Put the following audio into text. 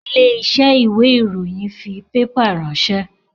Ilé iṣẹ́ ìwé ìròyìn fi pépà ránsẹ́